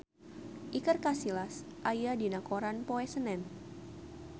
Iker Casillas aya dina koran poe Senen